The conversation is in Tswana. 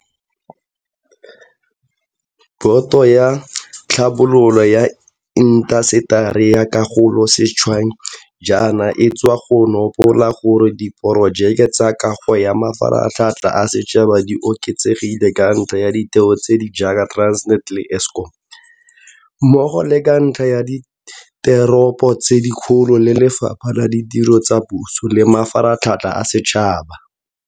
Boto ya Tlhabololo ya Intaseteri ya Kago sešweng jaana e sa tswa go nopola gore diporojeke tsa kago ya mafaratlhatlha a setšhaba di oketsegile ka ntlha ya ditheo tse di jaaka Transnet le Eskom, mmogo le ka ntlha ya diteropo tse dikgolo le Lefapha la Ditiro tsa Puso le Mafaratlhatlha a Setšhaba.